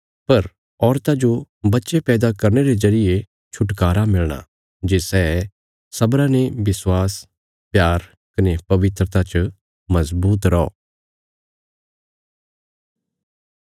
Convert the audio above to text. पर औरतां जन्म देंदे वगत खतरे ते बचाई लेई जाईयां जे सै सब्र रखीने विश्वास प्यार कने पवित्रता च मजबूत रौ